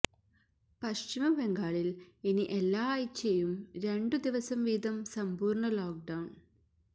പശ്ചിമ ബംഗാളില് ഇനി എല്ലാ ആഴ്ചയും രണ്ടു ദിവസംവീതം സമ്പൂര്ണ ലോക്ഡൌണ്